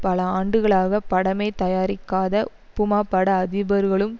பல ஆண்டுகளாக படமே தயாரிக்காத உப்புமா பட அதிபர்களும்